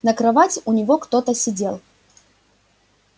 на кровати у него кто-то сидел